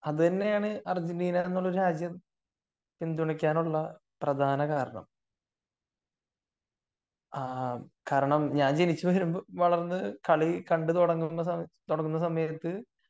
അത് തന്നെയാണ് അർജന്റീന എന്നുള്ള രാജ്യം പിന്തുണക്കാനുള്ള പ്രധാന കാരണം ആഹ് കാരണം ഞാൻ ജനിച്ചു വളർന്നു കാളി കണ്ടു തുടങ്ങുന്ന സമയത്തു